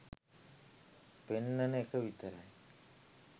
පෙන්නන එක විතරයි